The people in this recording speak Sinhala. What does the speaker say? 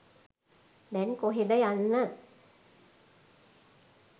දැන් කොහෙද යන්න